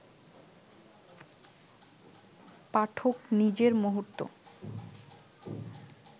পাঠক নিজের মুহূর্ত